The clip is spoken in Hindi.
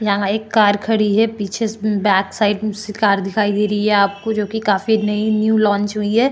यहाँ एक कार खड़ी है पीछे से बैक साइड सि कार दिखाई दे री है आपको जो कि काफी नयी न्यू लांच हुई है।